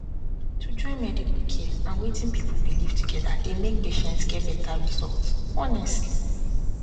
to join medical care and wetin people believe together dey make patients get better results honestly